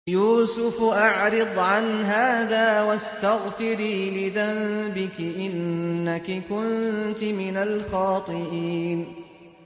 يُوسُفُ أَعْرِضْ عَنْ هَٰذَا ۚ وَاسْتَغْفِرِي لِذَنبِكِ ۖ إِنَّكِ كُنتِ مِنَ الْخَاطِئِينَ